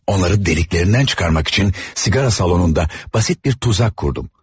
Onları deliklerinden çıkarmak için sigara salonunda basit bir tuzak kurdum.